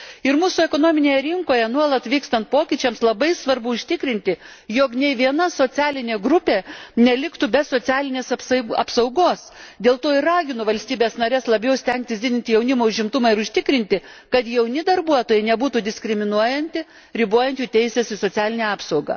Ir mūsų ekonominėje rinkoje nuolat vykstant pokyčiams, labai svarbu užtikrinti, jog nė viena socialinė grupė neliktų be socialinės apsaugos, dėl to ir raginu valstybes nares labiau stengtis didinti jaunimo užimtumą ir užtikrinti, kad jauni darbuotojai nebūtų diskriminuojami ribojant jų teises į socialinę apsaugą.